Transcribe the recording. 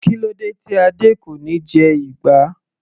Kílódé tí Adé kò níí jẹ ìgbá.